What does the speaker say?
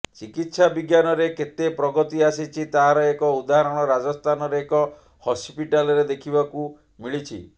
ଚିକିତ୍ସା ବିଜ୍ଞାନରେ କେତେ ପ୍ରଗତି ଆସିଛି ତାହାର ଏକ ଉଦାହରଣ ରାଜସ୍ଥାନର ଏକ ହସ୍ପିଟାଲରେ ଦେଖିବାକୁ ମିଳିଛି